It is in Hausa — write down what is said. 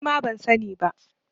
Nima ban sa ni ba